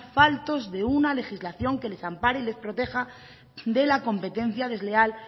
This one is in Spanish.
faltos de una legislación que les ampare y les proteja de la competencia desleal